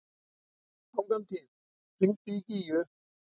Angantýr, hringdu í Gígju.